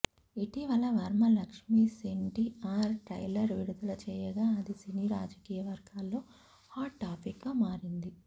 ఇటీవల వర్మ లక్ష్మీస్ ఎన్టీఆర్ ట్రైలర్ విడుదల చేయగా అది సినీ రాజకీయ వర్గాల్లో హాట్ టాపిక్ గా మారింది